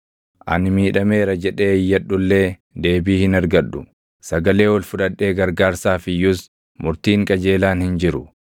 “ ‘Ani miidhameera!’ jedhee iyyadhu illee deebii hin argadhu; sagalee ol fudhadhee gargaarsaaf iyyus // murtiin qajeelaan hin jiru.